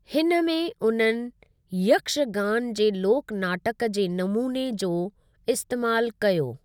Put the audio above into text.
हिन में उन्हनि यक्षगान जे लोक नाटकु जे नमूने जो इस्तेमालु कयो।